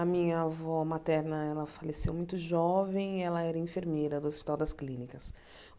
A minha avó materna ela faleceu muito jovem e ela era enfermeira do Hospital das Clínicas.